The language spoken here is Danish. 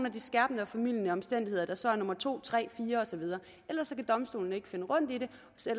af de skærpende og formildende omstændigheder der så er nummer to tre fire og så videre ellers kan domstolene ikke finde rundt i det